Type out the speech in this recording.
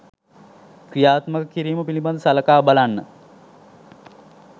ක්‍රියාත්මක කිරීම පිළිබඳව සලකා බලන්න.